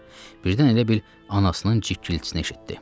Birdən elə bil anasının cikiltisini eşitdi.